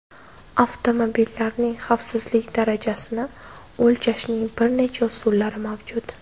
Avtomobillarning xavfsizlik darajasini o‘lchashning bir nechta usullari mavjud.